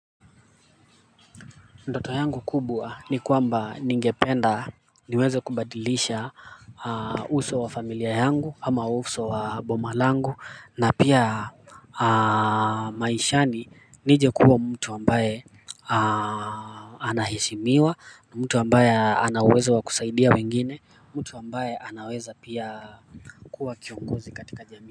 Ndoto yangu kubwa ni kwamba ningependa niweze kubadilisha uso wa familia yangu ama uso wa boma langu na pia. Maishani nije kuwa mtu ambaye anaheshimiwa na mtu ambaye ana uwezo wa kusaidia wengine, mtu ambaye anaweza pia kuwa kiongozi katika jamii.